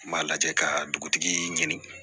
N b'a lajɛ ka dugutigi ɲini